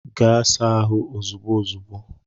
Gaa saa ahụ ozigbo ozigbo